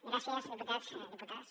gràcies diputats diputades